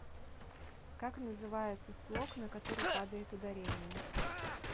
как называется слог на который падает ударение